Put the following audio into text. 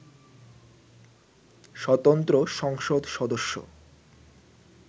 স্বতন্ত্র সংসদ সদস্য